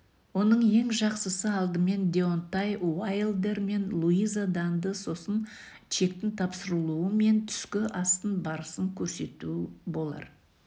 оның ең жақсысы алдымен деонтай уайлдер мен луиза данды сосын чектің тапсырылуы мен түскі астың барысын көрсету болар